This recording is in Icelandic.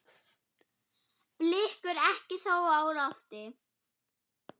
Blikur eru þó á lofti.